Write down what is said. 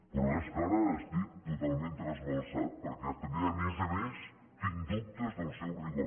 però és que ara estic totalment trasbalsat perquè també a més a més tinc dubtes del seu rigor